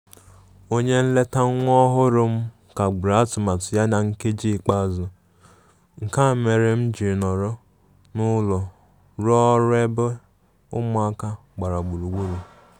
Onye eleta nwa ọhụrụ m kagburu atụmatụ ya na nkeji ikpeazụ, nke a mere m jịrị nọrọ n'ulo ruo ọrụ ebe ụmụ aka gbara gburugburu.